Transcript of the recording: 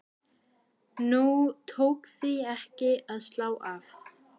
Nú tók því ekki að slá af.